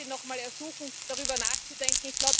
Ich darf Sie nochmal ersuchen, darüber nachzudenken.